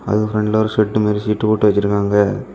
அதுக்கு பிரண்ட்ல ஒரு ஷெட்டு மாதிரி சீட்டு போட்டு வச்சி இருக்காங்க.